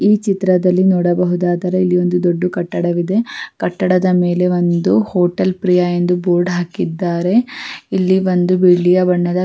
ಈ ಚಿತ್ರದಲ್ಲಿ ನೋಡಬಹುದಾದರೆ ಇಲ್ಲಿ ಒಂದು ದೊಡ್ಡ ಕಟ್ಟಡವಿದೆ ಕಟ್ಟಡದ ಮೇಲೆ ಒಂದು ಹೋಟೇಲ್ ಪ್ರಿಯ ಎಂದು ಬೋರ್ಡ್ ಹಾಕಿದ್ದಾರೆ ಇಲ್ಲಿ ಒಂದು ಬಿಳಿಯ ಬಣ್ಣದ.